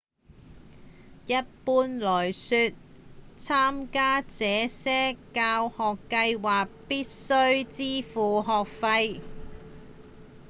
一般來說參加這些教學計畫必須支付學費